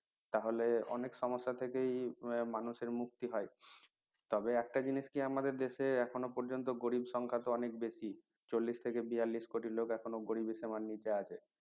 তাহলে অনেক সমস্যার থেকেই মানুষের মুক্তি হয় তবে একটা জিনিস কি আমাদের দেশে এখনো পর্যন্ত গরিব সংখ্যা তো অনেক বেশি চল্লিশ থেকে বিয়াল্লিশ কোটি লোক এখন গরিবের সীমার নিচে আছে